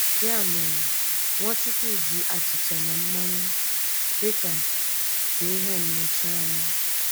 Ya mere, Nwachukwu ji achịcha na mmanya dị ka ka ihe nnọchianya.